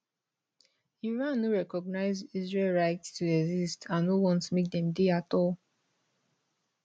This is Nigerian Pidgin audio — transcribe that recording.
iran no recognise israel right to exist and no want make dem dey at all